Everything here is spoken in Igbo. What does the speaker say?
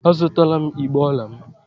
A zụtala m igbé ọla m.